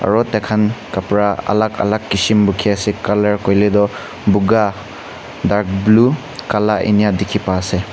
aro taikhan khapra alak alak kishim bukhi ase color kuile tu buga dark blue kala enia dikhi pai se.